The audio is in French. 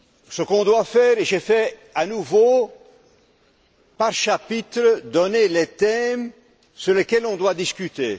Je vais à nouveau, par chapitre, donner les thèmes sur lesquels on doit discuter.